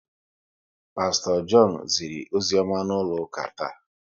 Pasto John ziri ozioma n'ụlọ ụka taa